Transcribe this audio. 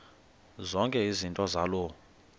zonke izinto zaloo